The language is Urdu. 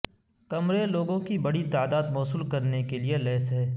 کمرے لوگوں کی بڑی تعداد موصول کرنے کے لئے لیس ہے